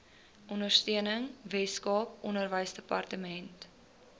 ondersteuning weskaap onderwysdepartement